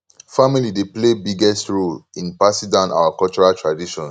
family dey play biggest role in passing down our cultural traditions